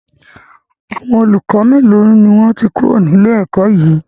Àwọn olùkọ́ melo ni wọn ti kúrò ní ilé ẹ̀kọ́ yí?